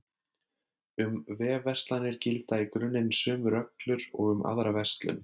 Um vefverslanir gilda í grunninn sömu reglur og um aðra verslun.